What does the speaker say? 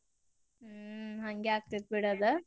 ಹ್ಮ್‌ ಹಂಗೆ ಆಗ್ತೇತ್ಬಿಡ್ ಆದ.